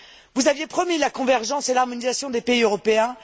Vous aviez promis la convergence et l'harmonisation des pays européens.